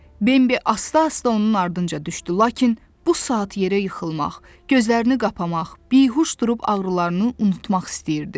Bembi asta-asta onun ardınca düşdü, lakin bu saat yerə yıxılmaq, gözlərini qapamaq, bihuş durub ağrılarını unutmaq istəyirdi.